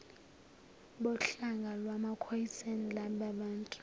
bohlanga lwamakhoisan lababantu